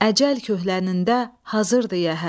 Əcəl köhlənində hazırdı yəhər.